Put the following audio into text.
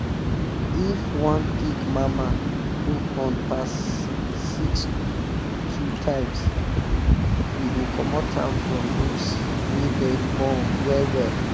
if um one pig mama no born pass six two times we um go commot am from those wey dey born well um well.